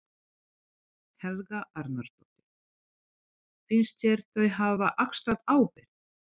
Helga Arnardóttir: Finnst þér þau hafa axlað ábyrgð?